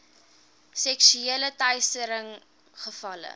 seksuele teistering gevalle